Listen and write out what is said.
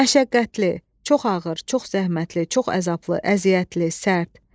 Məşəqqətli, çox ağır, çox zəhmətli, çox əzablı, əziyyətli, sərt.